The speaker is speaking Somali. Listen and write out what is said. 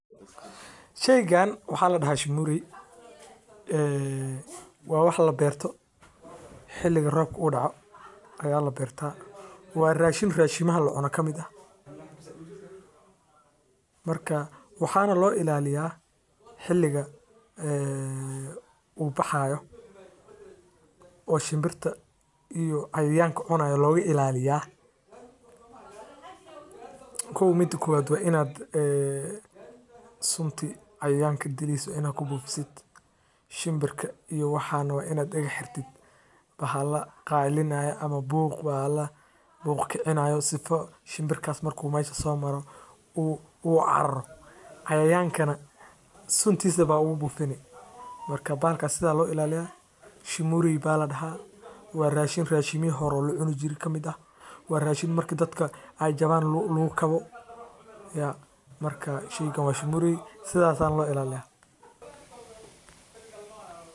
Sheygan waa sheey aad muhiim u ah oo lagu soo bandige xog aruurin cilmiya casri ah taas waye inaad sarif ooga baahatid sido kale salad waxaa lagu daraa nyanya lajarjaray boosha waxaa kaleeto oo lakeedin karaa waa sariir lagu seexanay.